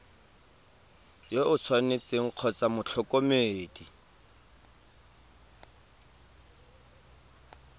yo o tshwanetseng kgotsa motlhokomedi